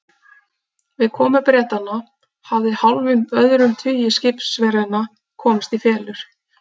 Við komu Bretanna hafði hálfum öðrum tugi skipverjanna komast í felur.